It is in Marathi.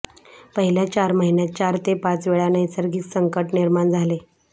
पहिल्या चार महिन्यांत चार ते पाच वेळा नैसर्गिक संकट निर्माण झाले